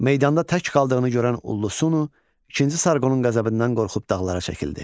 Meydanda tək qaldığını görən Ullusunu, ikinci Sarqonun qəzəbindən qorxub dağlara çəkildi.